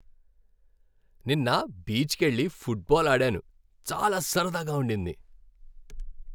నిన్న బీచ్కెళ్లి ఫుట్బాల్ ఆడాను. చాలా సరదాగా ఉండింది.